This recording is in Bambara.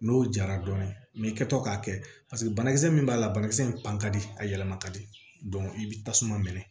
N'o jara dɔɔnin i kɛtɔ k'a kɛ paseke banakisɛ min b'a la banakisɛ in pan ka di a yɛlɛma ka di i bɛ tasuma minɛ